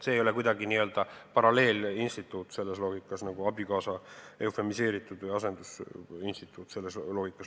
See ei ole kuidagi n-ö paralleelinstituut, nagu abikaasa eufemiseeritud instituut või asendusinstituut selles loogikas.